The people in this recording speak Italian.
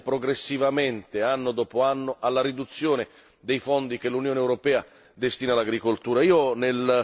Assistiamo progressivamente, anno dopo anno, alla riduzione dei fondi che l'Unione europea destina al comparto agricolo.